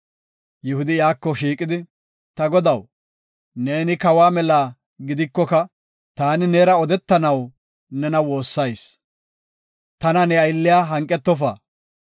Yihudi iyako shiiqidi “Ta godaw, neeni kawa mela gidikoka taani neera odetanaw nena woossayis. Tana ne aylliya hanqetofa.